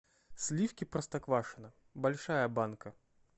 сливки простоквашино большая банка